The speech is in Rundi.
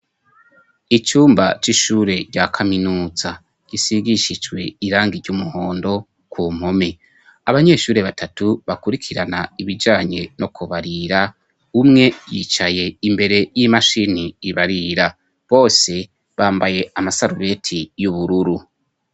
icumba c'ishure rya kaminuza. Gisigishijwe irangi ry'umuhondo ku mpome. Abanyeshuri batatu bakurikirana ibijanye no kubarira. Umwe yicaye imbere y'imashini ibarira. Bose bambaye amasarubeti y'ubururu.